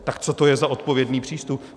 Tak co to je za odpovědný přístup?